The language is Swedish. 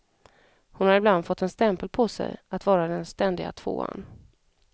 Hon har ibland fått en stämpel på sig att vara den ständiga tvåan.